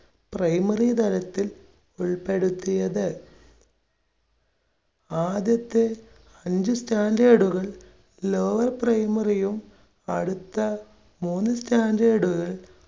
primary തലത്തിൽ ഉൾപ്പെടുത്തിയത്. ആദ്യത്തെ അഞ്ച് standard കൾ lower primary യും അടുത്ത മൂന്ന് standard കൾ